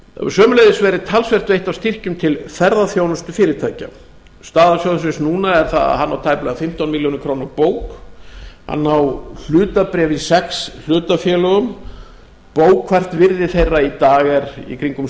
sömuleiðis hefur talsvert verið veitt af styrkjum til ferðaþjónustufyrirtækja staða sjóðsins núna er sú að hann á tæplega fimmtán milljónir króna á bók hann á hlutabréf í sex hlutafélögum og bókfært virði þeirra í dag er í kringum